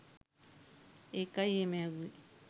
එකයි එහෙම ඇහුවේ.